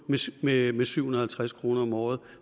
med syv hundrede og halvtreds kroner om året